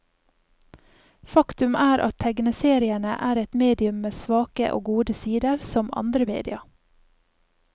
Faktum er at tegneseriene er et medium med svake og gode sider, som andre media.